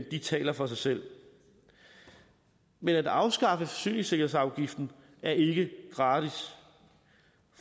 de taler for sig selv men at afskaffe forsyningssikkerhedsafgiften er ikke gratis